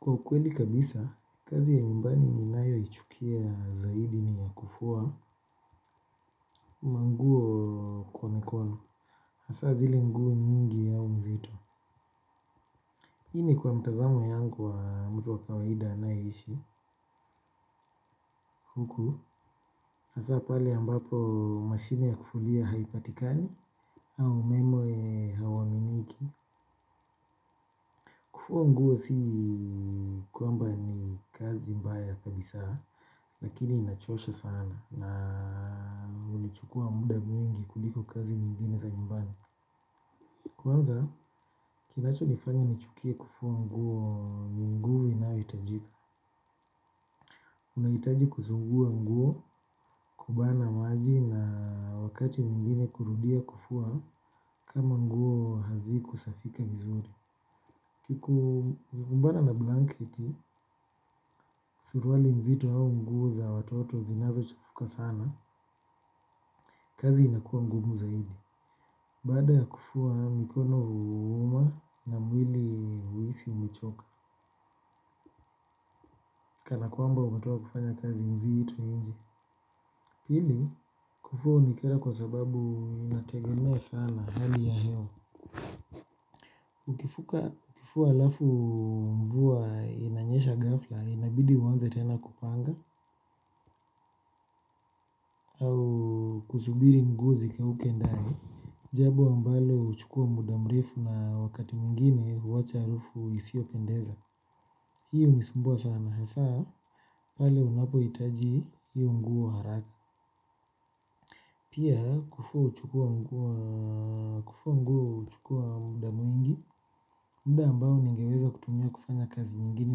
Kwa ukweli kabisa, kazi ya nyumbani ninayoichukia zaidi ni ya kufua, manguo kwa mikono. Asa zile nguo nyingi au mzito. Hii ni kwa mtazamo yangu wa mtu wa kawaida anayeishi huku. Hasa pale ambapo mashine ya kufulia haipatikani au umeme hauaminiki. Kufua nguo si kwamba ni kazi mbaya kabisa lakini inachosha sana na hunichukua mwingi kuliko kazi nyingine. Kwanza, kinachonifanya nichukie kufua nguo ni nguvu inayohitajika. Unahitaji kuzungua nguo kubana maji na wakati mwingine kurudia kufua kama nguo hazikusafika vizuri. uKikumbana na blanketi, suruali nzito au nguvu za watoto zinazochafuka sana, kazi inakuwa mgumu zaidi. Baada ya kufua mikono huuma na mwili huisi umechoka, kana kwamba umetoka kufanya kazi mzito nji. Pili, kufua hunikera kwa sababu inategemea sana hali ya hewa. Ukifua alafu mvua inanyesha ghafla inabidi uanze tena kupanga au kusubiri nguo zikauke ndani. Jambo ambalo huchukua muda mrefu na wakati mwingine huwacha harufu isiyopendeza. Hii hunisumbua sana hasa pale unapohitaji hiyo nguo haraka. Pia kufua huchukua muda mwingi. Mda ambao ningeweza kutumia kufanya kazi nyigine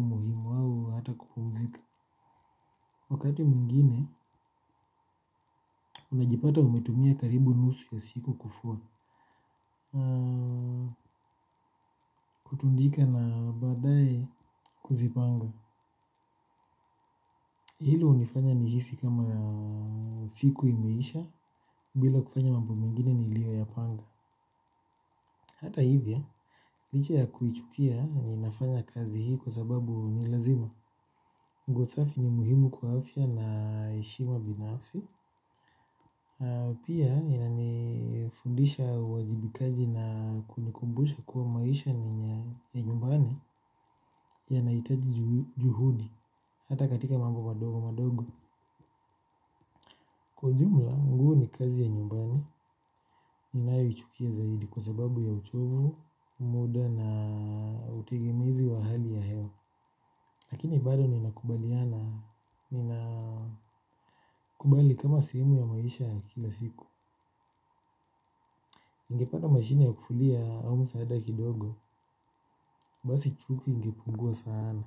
muhimu au hata kupumzika wakati mwingine, unajipata umetumia karibu nusu ya siku kufua. Kutundika na baadaye ikuzipanga. Hilo hunifanya nihisi kama siku imeisha. Bila kufanya mambo mengine niliyoyapanga. Hata hivya, licha ya kuichukia ninafanya kazi hii kwa sababu ni lazima nguo safi ni muhimu kwa afya na heshima binafsi. Pia inanifundisha uwajibikaji na kunikumbusha kuwa maisha ni nyumbani yanahitaji juhudi hata katika mambo madogo madogo. Kwa ujumla, nguo ni kazi ya nyumbani ninayoichukia zaidi kwa sebabu ya uchovu, muda na utegemezi wa hali ya hewa. Lakini bado ninakubali kama sehemu ya maisha kila siku. Ningepata mashini ya kufulia au msaada kidogo basi chuki ingepungua sana.